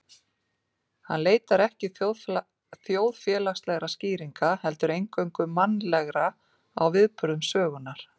Hann leitar ekki þjóðfélagslegra skýringa, heldur eingöngu mannlegra á viðburðum sögunnar.